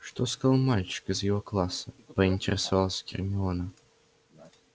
что сказал мальчик из его класса поинтересовалась гермиона